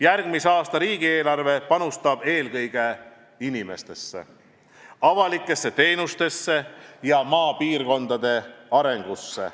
Järgmise aasta riigieelarve panustab eelkõige inimestesse, avalikesse teenustesse ja maapiirkondade arengusse.